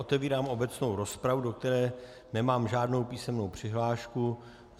Otevírám obecnou rozpravu, do které nemám žádnou písemnou přihlášku.